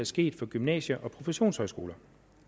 sket for gymnasier og professionshøjskoler